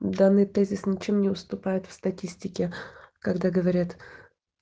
данный тезис ничем не уступает в статистике когда говорят